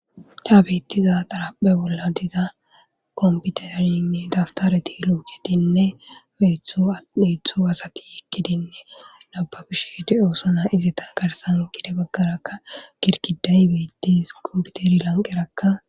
Taas bettiza xaraphe bolla diza komputerinne daftareti luuketinne beetto asati eqqidinne nababishe di7osona. Izeta garsan gede baggarakka girgiday beettees. komputeri lanqerakka.